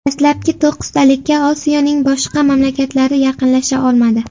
Dastlabki to‘qqiztalikka Osiyoning boshqa mamlakatlari yaqinlasha olmadi.